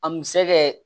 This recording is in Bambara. A misa kɛ